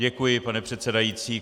Děkuji, pane předsedající.